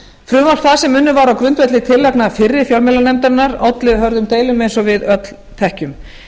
frumvarp það sem unnið var á grundvelli tillagna fyrri fjölmiðlanefndarinnar olli hörðum deilum eins og við öll þekkjum